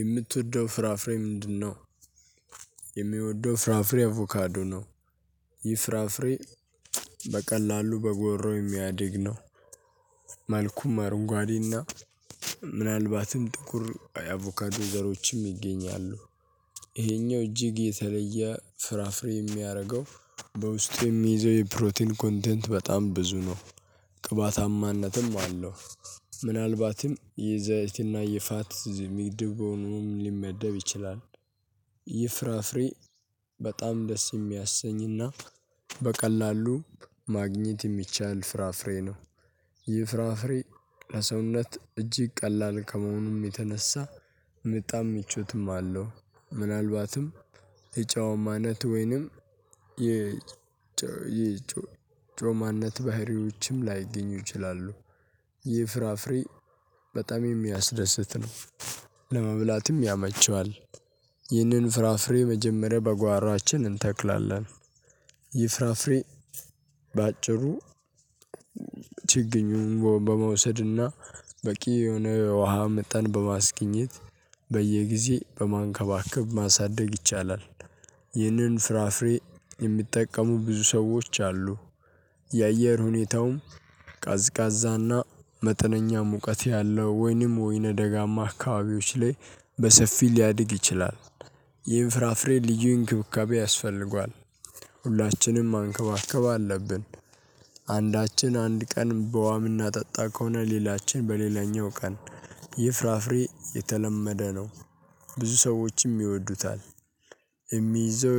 የምትወደው ፍራፍሬ ምንድነው? የሚወደው ፍራፍሬ አቮካዶ ነው። ይህ ፍራፍሬ በቀላሉ በጓሮ የሚያድግ ነው። መልኩም አረንጓዴና ምናልባትም ጥቁር አቮካዶ ዘሮችም ይገኛሉ። ይሄኛው እጅግ የተለየ ፍራፍሬ የሚያደርገው በውስጥ የሚይዘው የፕሮቲን ኮንተንት በጣም ብዙ ነው። ቅባታማነትም አለው ምናልባትም የዘይትና የፋት ዝ ምድብ ሆኖም ሊመደብ ይችላል። ይህ ፍራፍሬ በጣም ደስ የሚያሰኝና በቀላሉ ማግኘት የሚቻል ፍራፍሬ ነው። ይህ ፍራፍሬ ለሰውነት እጅግ ቀላል ከመሆኑም የተነሳ ምጣም ምቾትም አለው። ምናልባትም የጫዋማ አይነት ወይንም የጨው ጮማነት ባህሪዎችም ላይገኙ ይችላሉ። ይህ ፍራፍሬ በጣም የሚያስደስት ነው። ለመብላትም ያመቸዋል ይህንን ፍራፍሬ መጀመሪያ በጓራችን እንተክላለን። ይህ ፍራፍሬ በአጭሩ ችግኙን በመውሰድና በቂ የሆነ ውሃ መጠን በማስገኘት በየጊዜ በማንከባከብ ማሳደግ ይቻላል። ይህንን ፍራፍሬ የሚጠቀሙ ብዙ ሰዎች አሉ። የአየር ሁኔታውም ቀዝቃዛና መጠነኛ ሙቀት ያለው ወይንም ወይነ ደጋማ አካባቢዎች ላይ በሰፊው ሊያድግ ይችላል። ይህን ፍራፍሬ ልዩ እንክብካቤ ያስፈልገዋል። ሁላችንም ማንከባከብ አለብን። አንዳችን አንድ ቀን በዉሃ ምናጠጣ ከሆነ ሌላችን በሌላኛው ቀን ይህ ፍራፍሬ የተለመደ ነው። ብዙ ሰዎችም ይወዱታል። የሚይዘው